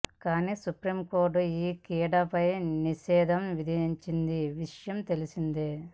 కానీ supreme court ఈ క్రీడ పై నిషేధం విధించిన విషయం తెలిసిందే